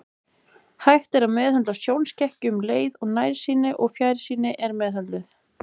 Hægt er að meðhöndla sjónskekkju um leið og nærsýnin eða fjarsýnin er meðhöndluð.